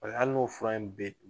A y'a n'o fura in bɛɛ dun.